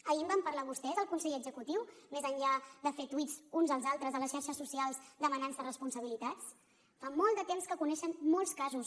ahir en van parlar vostès al consell executiu més enllà de fer tuits uns als altres a les xarxes socials demanant se responsabilitats fa molt de temps que coneixen molts casos